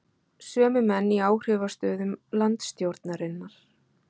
Sömu menn í áhrifastöðum landsstjórnarinnar?